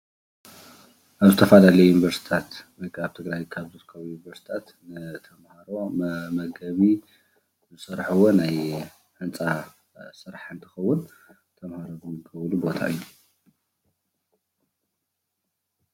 ኣብ ዝተፈላለዩ ዪኒቨርስቲታት ወይ ከዓ ኣብ ትግራይ ካብ ዝርከቡ ዩኒቨርስቲታት ንተማሃሮ መመገቢ ዝሰርሕዎ ናይ ህንፃ ስራሕ እንትከውን ተማሃሮ ዝምገብሉ ቦታ እዩ፡፡